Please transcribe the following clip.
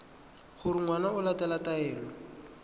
gore ngwana o latela taelo